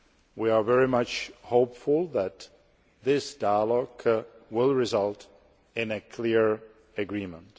We are very hopeful that this dialogue will result in a clear agreement.